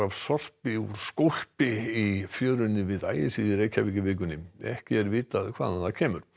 sorpi úr skólpi var í fjörunni við Ægisíðu í vikunni ekki er vitað hvaðan það kemur